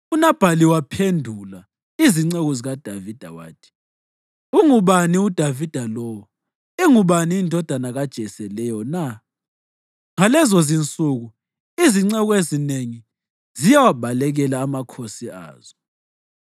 UNabhali waphendula izinceku zikaDavida wathi, “Ungubani uDavida lowo? Ingubani indodana kaJese leyo na? Ngalezizinsuku izinceku ezinengi ziyawabalekela amakhosi azo.